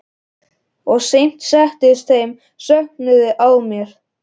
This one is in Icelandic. Og samt settist þessi söknuður að mér.